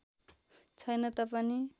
छैन त पनि